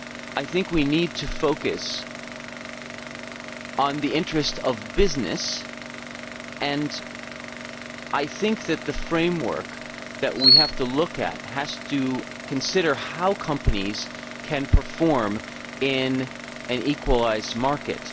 I think we need to focus on the interests of business, and I think that the framework that we have to look at has to consider how companies can perform in an equalised market.